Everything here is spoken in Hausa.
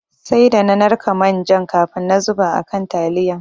Sai da na narka manjan kafin na zuba a kan taliyan.